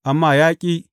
Amma ya ƙi.